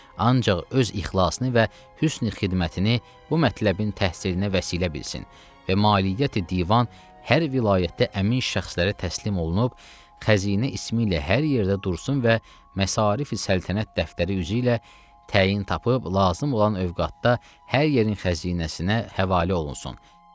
Ancaq öz ixlasını və hüsn xidmətini bu mətləbin təhsirnə vəsilə bilsin və maliyyət divan hər vilayətdə əmin şəxslərə təslim olunub, xəzinə ismi ilə hər yerdə dursun və məsarif səltənət dəftəri üzü ilə təyin tapıb, lazım olan övqatda hər yerin xəzinəsinə həvalə olunsun.